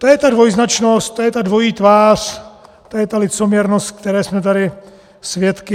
To je ta dvojznačnost, to je ta dvojí tvář, to je ta licoměrnost, které jsme tady svědky.